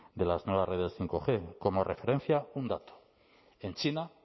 de las nuevas redes como referencia un dato en china